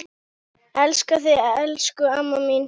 Elska þig, elsku amma mín.